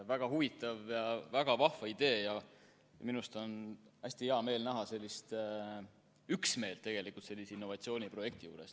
Väga huvitav ja väga vahva idee ja minu arust on hästi hea meel näha sellist üksmeelt sellise innovatsiooniprojekti juures.